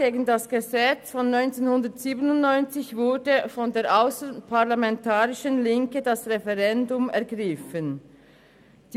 Gegen das Gesetz von 1997 war damals von der ausserparlamentarischen Linken das Referendum ergriffen worden.